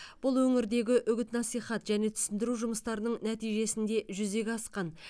бұл өңірдегі үгіт насихат және түсіндіру жұмыстарының нәтижесінде жүзеге асқан